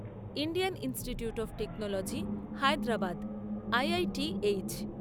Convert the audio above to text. Indian Institute of Technology Hyderabad IITH